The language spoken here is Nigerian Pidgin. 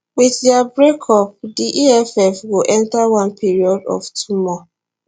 wit dia breakup di eff go enta one period of turmoil